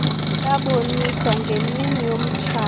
yaboniswa ngemini yomtshato